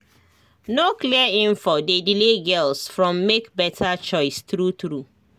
no clear info dey delay girls from make better choice true true